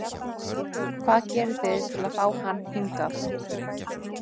Hvað gerðuð þið til að fá hann hingað?